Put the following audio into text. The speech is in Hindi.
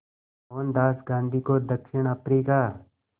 मोहनदास गांधी को दक्षिण अफ्रीका